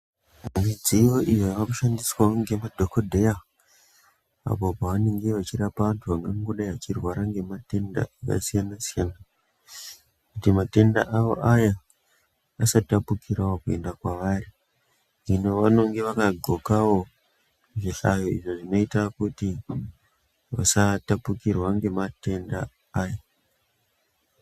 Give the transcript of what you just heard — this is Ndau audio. Midziyo iyo yakushandiswawo nemadhokodheya apo pavanenge vachirapa antu angangodai achirwara ngematenda akasiyana siyana kuti matenda aya asatapukirawo kwavari hino vanenge vakapfeka zvihlayo izvo zvinoita kuti vasatapukirwa ngematenda aya.